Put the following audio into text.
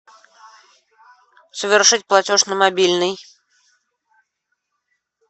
совершить платеж на мобильный